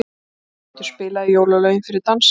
Kötu, spilaði jólalögin fyrir dansinum.